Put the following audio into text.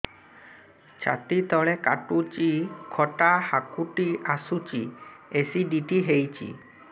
ଛାତି ତଳେ କାଟୁଚି ଖଟା ହାକୁଟି ଆସୁଚି ଏସିଡିଟି ହେଇଚି